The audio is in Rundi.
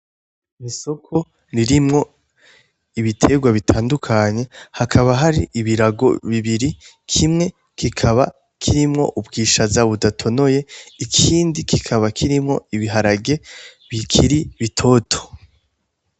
Isoko irimwo ibiterwa bitadukanye hakaba har'ibirago bibiri kimwe kikaba ubwishaza budatonoye ikindi kikaba kirimwo ibuharage bikiri bitoto.